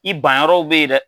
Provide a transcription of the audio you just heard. I ban yɔrɔw bɛ yen dɛ.